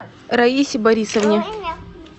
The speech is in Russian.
раисе борисовне